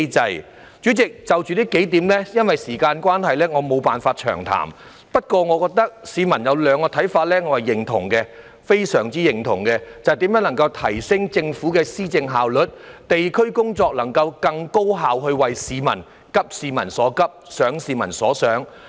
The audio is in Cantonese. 代理主席，就着這幾點，因為時間關係，我沒法詳談。不過，市民有兩個看法我是非常認同的，便是如何提升政府的施政效率，地區工作如何更高效地急市民所急，想市民所想。